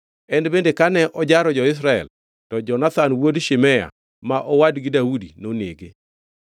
En bende kane ojaro jo-Israel to Jonathan wuod Shimea ma owadgi Daudi nonege.